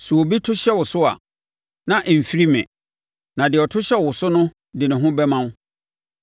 Sɛ obi to hyɛ wo so a, na ɛmfiri me; na deɛ ɔto hyɛ wo so no de ne ho bɛma wo.